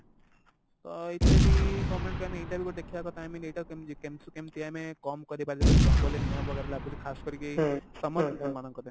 ତ ଏଇଥିରେ ବି government କୁ ଆମେ ଏଇଟା କୁ ଦେଖେଇବା କଥା i mean ଏଇଟାକୁ କେମିତି କେମିତି କେମିତି ଆମେ କମ କରିପାରିବା ଯଉଟା କି ଜଙ୍ଗଲରେ ନିଆଁ वगेरा ଲାଗୁଛି ଖାସ କରିକି ଏଇ summer season ମାନଙ୍କରେ